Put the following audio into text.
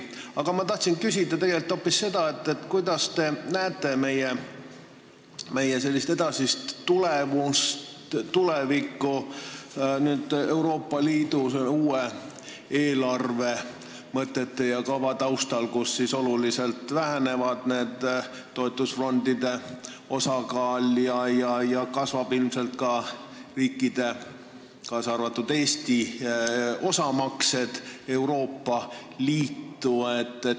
Aga ma tahtsin küsida tegelikult hoopis seda, kuidas te näete meie edasist tulevikku, kui Euroopa Liidu uue eelarvekava järgi väheneb toetusfondide osakaal ja kasvavad ilmselt ka riikide, kaasa arvatud Eesti osamaksed Euroopa Liitu.